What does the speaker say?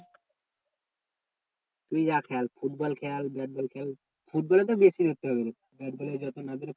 তুই যা খেল ফুটবল খেল ব্যাটবল খেল ফুটবলে তো বেশি ব্যাটবলে